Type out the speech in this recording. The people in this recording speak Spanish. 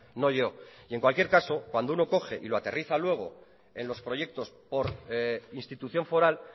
no yo y en cualquier caso cuando uno coge y lo aterriza luego en los proyectos por institución foral